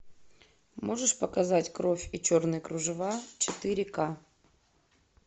можешь показать кровь и черные кружева четыре ка